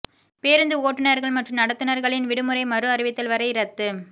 பேருந்து ஓட்டுனர்கள் மற்றும் நடத்துனர்களின் விடுமுறை மறு அறிவித்தல் வரை இரத்து